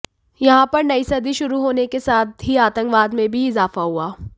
यहां पर नई सदी शुरू होने के साथ ही आतंकवाद में भी इजाफा हुआ